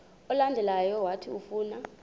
olandelayo owathi ufuna